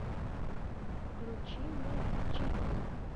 включи мне фи чи пи